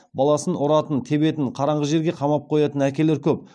баласын ұратын тебетін қараңғы жерге қамап қоятын әкелер көп